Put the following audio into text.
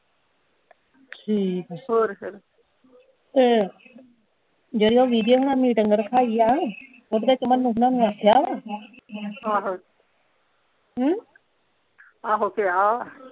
ਠੀਕ ਆ ਹੋਰ ਫੇਰ ਤੇ ਜਿਹੜੀ ਓਹ ਹੁਣਾ ਮੀਟਿੰਗ ਰਖਾਈ ਆ ਉਹਦੇ ਚ ਮੰਨੂ ਹੁਣਾ ਨੂੰ ਆਖਿਆ ਵਾ ਹਾਂ ਹਾਂ ਹਮ ਆਹੋ ਕਿਹਾ ਆ